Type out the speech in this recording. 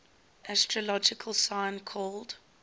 astrological sign called